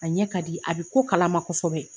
A ɲɛ kadi, a be ko kalama kosɛbɛ.